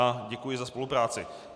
A děkuji za spolupráci.